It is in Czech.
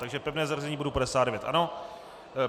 Takže pevné zařazení bodu 59, ano?